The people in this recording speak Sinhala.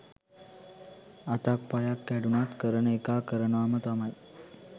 අතක් පයක් කැඩුනත් කරන එකා කරනවම තමයි